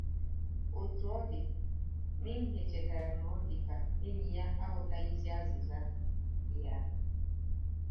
Otú ọ dị, Minhee chetara na ọ dị ka enyi ya aghọtaghị azịza ya.